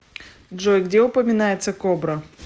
джой где упоминается кобра